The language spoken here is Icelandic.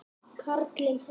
Karlinn hennar.